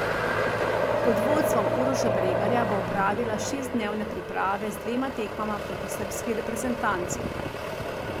Pod vodstvom Uroša Bregarja bo opravila šestdnevne priprave z dvema tekmama proti srbski reprezentanci.